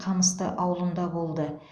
қамысты ауылында болды